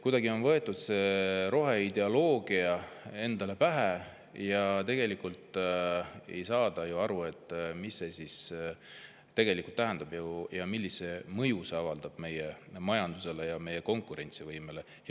Kuidagi on võetud see roheideoloogia endale pähe, aga tegelikult ei saada aru, mida see tegelikult tähendab ja millist mõju see avaldab meie majandusele ja meie konkurentsivõimele.